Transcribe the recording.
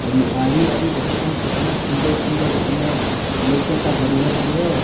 और आरी-आरी देखत तानी कितना सुंदर-सुंदर में लउकता हरियर-हरियर।